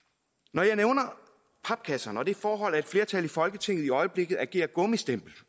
når jeg nævner papkasserne og det forhold at et flertal i folketinget i øjeblikket agerer gummistempel